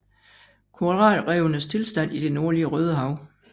Koralrevenes tilstand i det nordlige Rødehav